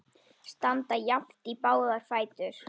Standa jafnt í báða fætur.